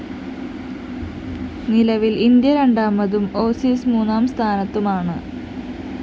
നിലവില്‍ ഇന്ത്യ രണ്ടാമതും ഓസീസ് മൂന്നാം സ്ഥാനത്തുമാണ്